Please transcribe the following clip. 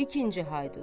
İkinci Haydut.